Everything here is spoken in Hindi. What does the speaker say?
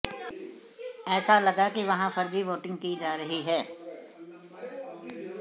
ऐसे लगा कि वहां फर्जी वोटिंग की जा रही है